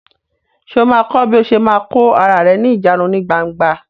Sọ ma kọ́ bí o ṣe ma kò ara rẹ ní ìjánu ní gbangba?